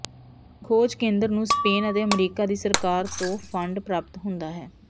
ਖੋਜ ਕੇਂਦਰ ਨੂੰ ਸਪੇਨ ਅਤੇ ਅਮਰੀਕਾ ਦੀ ਸਰਕਾਰ ਤੋਂ ਫੰਡ ਪ੍ਰਾਪਤ ਹੁੰਦਾ ਹੈ